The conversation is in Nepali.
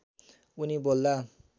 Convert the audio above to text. उनी बोल्दा